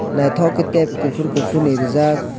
naitok kei tep kopor ni rijak.